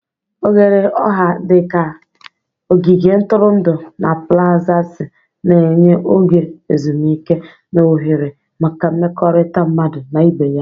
Oghere ọha dị ka ogige ntụrụndụ na plazasi na-enye oge ezumike na ohere maka mmekọrịta mmadụ na ibe ya.